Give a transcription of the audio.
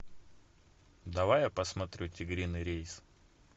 давай я посмотрю тигриный рейс